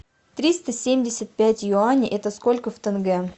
триста семьдесят пять юаней это сколько в тенге